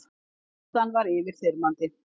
Reynslan var yfirþyrmandi.